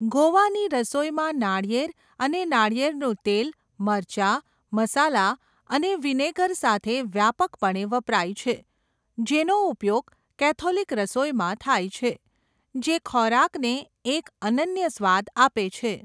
ગોવાની રસોઈમાં નાળિયેર અને નાળિયેરનું તેલ મરચાં, મસાલા અને વિનેગર સાથે વ્યાપકપણે વપરાય છે, જેનો ઉપયોગ કેથોલિક રસોઈમાં થાય છે, જે ખોરાકને એક અનન્ય સ્વાદ આપે છે.